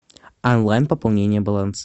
онлайн пополнение баланс